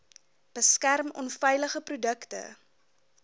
beskerm onveilige produkte